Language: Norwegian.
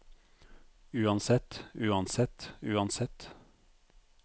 uansett uansett uansett